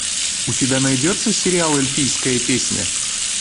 у тебя найдется сериал эльфийская песня